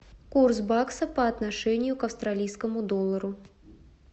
курс бакса по отношению к австралийскому доллару